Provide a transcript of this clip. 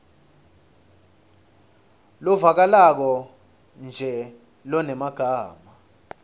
lovakalako nje lonemagama